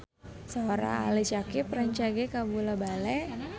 Sora Ali Syakieb rancage kabula-bale